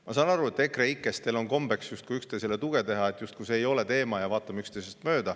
Ma saan aru, et EKREIKE-s teil on kombeks üksteisele tuge teha, et justkui see ei ole teema ja vaatame üksteisest mööda.